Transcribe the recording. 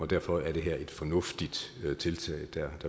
derfor er det her et fornuftigt tiltag der